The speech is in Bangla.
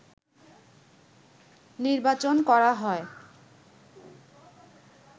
নির্বাচন করা হয়